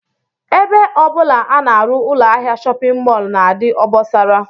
Ebe ọ bụla a na-arụ ụlọahịa shọpịn mọl na-adị obosara